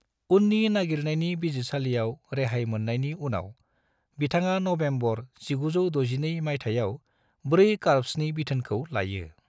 उननि नायगिरनायनि बिजिरसालियाव रेहाय मोननायनि उनाव, बिथाङा नबेम्बर 1962 मायथाइयाव IV करप्सनि बिथोनखौ लायो।